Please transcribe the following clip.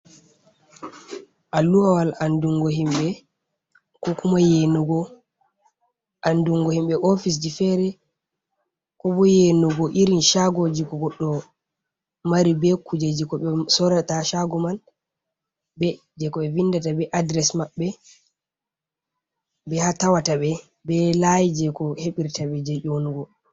Aluwawal andungo himɓe, ko kuma yeenugo andungo himɓe ofisji feere, ko bo yenugo irin shagoji ko goɗɗo mari be kujeeji ko ɓe sorata shago man be jei ko e vindata be adres maɓbe bei haa tawata ɓe be layi jei ko heɓirtaɓe jei ƴonugo.